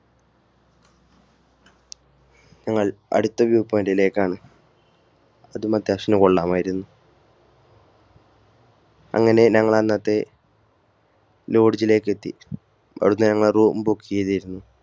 ഞങ്ങൾ അടുത്ത view point ലേക്കാണ് അതും അത്യാവശ്യത്തിനു കൊള്ളാമായിരുന്നു. അങ്ങനെ ഞങ്ങൾ അന്നത്തെ lodge ലേക്ക് എത്തി അവിടുന്ന് ഞങ്ങൾ room book ചെയ്തിരുന്നു.